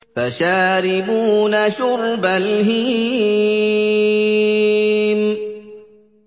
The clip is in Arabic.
فَشَارِبُونَ شُرْبَ الْهِيمِ